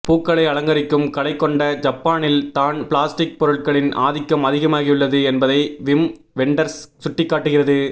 பூக்களை அலங்கரிக்கும் கலை கொண்ட ஜப்பானில் தான் பிளாஸ்டிக் பொருட்களின் ஆதிக்கம் அதிகமாகியுள்ளது என்பதை விம் வெண்டர்ஸ் சுட்டிக்காட்டுகிறது